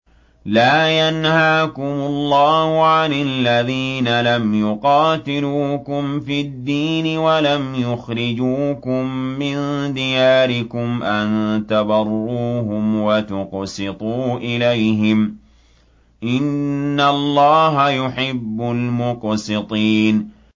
لَّا يَنْهَاكُمُ اللَّهُ عَنِ الَّذِينَ لَمْ يُقَاتِلُوكُمْ فِي الدِّينِ وَلَمْ يُخْرِجُوكُم مِّن دِيَارِكُمْ أَن تَبَرُّوهُمْ وَتُقْسِطُوا إِلَيْهِمْ ۚ إِنَّ اللَّهَ يُحِبُّ الْمُقْسِطِينَ